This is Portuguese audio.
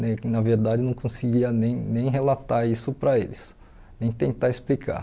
Ne na verdade, não conseguia nem nem relatar isso para eles, nem tentar explicar.